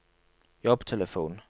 jobbtelefon